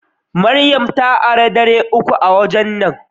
Mariam ta ara dari uku a waje na.